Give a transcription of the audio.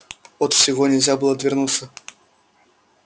от всего нельзя было отвернуться